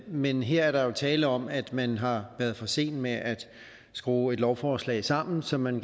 men her er der jo tale om at man har været for sen med at skrue et lovforslag sammen som man